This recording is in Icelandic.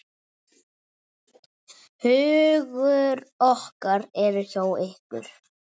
Hugur okkar eru hjá ykkur.